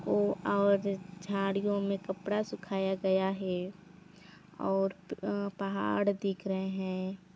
ओ और झाड़ियों मे कपड़ा सुखाया गया है और अ पहाड़ दिख रहें है।